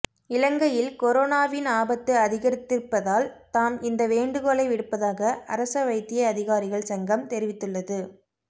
இலங்கையில் கொரோனாவின் ஆபத்து அதிகரித்திருப்பதால் தாம் இந்த வேண்டுகோளை விடுப்பதாக அரச வைத்திய அதிகாரிகள் சங்கம் தெரிவித்துள்ளது